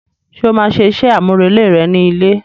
Ṣe o ma máa ṣe iṣẹ amurele rẹ ni ilé?